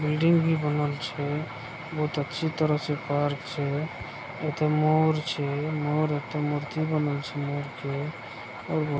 building भी बनल छे बहुत अच्छी तरह से पार्क छे एते मोर छे मोर एते मूर्ति बनल छे मोर के और बहु --